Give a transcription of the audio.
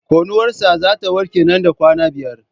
Konuwar sa zata warke nan da kwana biyar